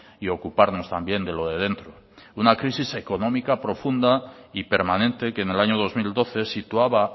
y ocuparnos también de lo de dentro una crisis económica profunda y permanente que en el año dos mil doce situaba